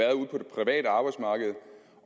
private arbejdsmarked